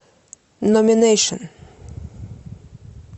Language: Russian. номинэйшн